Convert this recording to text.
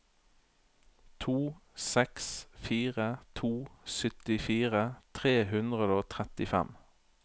to seks fire to syttifire tre hundre og trettifem